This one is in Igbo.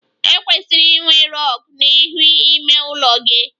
E kwesịrị inwe rug n'ihu ime ụlọ gị